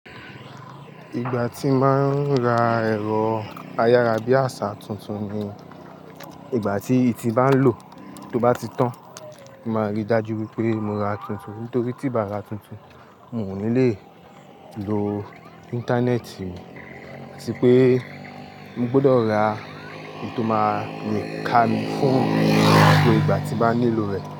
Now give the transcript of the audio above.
Ìgbà tí máa ń ra ẹ̀rọ ayára bí àṣá tuntun ni ìgbà tí iyi ti n ba lò, tó bá ti tán. Máa rí i dájú wípé mo ra tuntun nítorí tíi bàá ra tuntun, mo ò ní le lo íńtánẹ́ẹ̀tì àti pé mo gbọ́dọ̀ ra èyí tó máa le ka mi fún gbogbo ìgbà tí baá nílò rẹ̀.